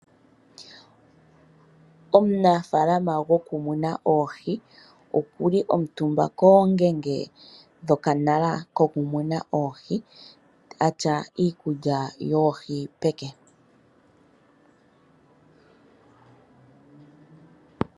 Omunafaalama gwokumuna oohi oku li omutumba koongenge dhokanala ko ku muna oohi, atya iikulya yoohi peke.